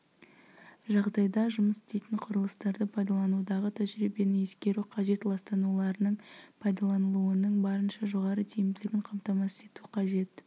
жағдайда жұмыс істейтін құрылыстарды пайдаланудағы тәжірибені ескеру қажет ластануларының пайдаланылуының барынша жоғары тиімділігін қамтамасыз ету қажет